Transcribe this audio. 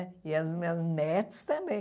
E as minhas netos também.